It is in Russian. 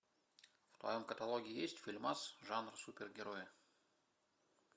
в твоем каталоге есть фильмас жанр супергерои